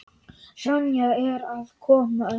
Sonja er að koma.